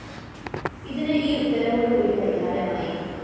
ഇതിന് ഈ ഉത്തരവോടുകൂടി പരിഹാരമായി